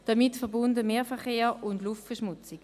Damit verbunden sind Mehrverkehr und Luftverschmutzung.